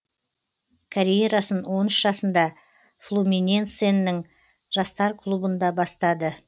карьерасын он үш жасында флуминенсенің жастар клубында бастады